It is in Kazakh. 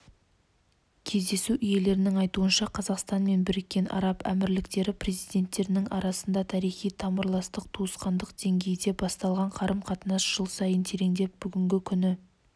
кездесу иелерінің айтуынша қазақстан мен біріккен араб әмірліктері президенттерінің арасында тарихи тамырластық туысқандық деңгейде басталған қарым-қатынас жыл сайын тереңдеп бүгінгі күні